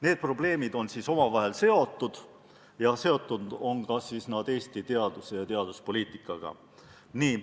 Need probleemid on omavahel seotud ja need on seotud ka Eesti teaduse ja teaduspoliitikaga.